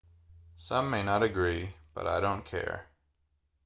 some may not agree but i don't care